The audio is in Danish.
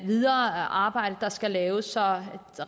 videre arbejde der skal laves så